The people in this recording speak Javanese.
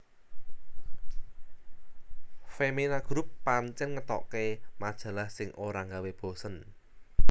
Femina Group pancen ngetoke majalh sing ora nggawe bosen